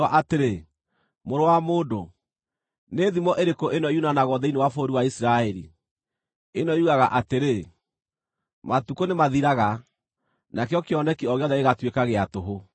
“Mũrũ wa mũndũ, nĩ thimo ĩrĩkũ ĩno yunanagwo thĩinĩ wa bũrũri wa Isiraeli, ĩno yugaga atĩrĩ: ‘Matukũ nĩmathiraga, nakĩo kĩoneki o gĩothe gĩgatuĩka gĩa tũhũ’?